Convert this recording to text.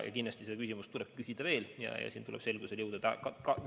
Kindlasti seda küsimust tuleb kaaluda veel ja selles selgusele jõuda.